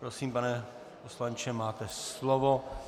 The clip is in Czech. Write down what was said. Prosím, pane poslanče, máte slovo.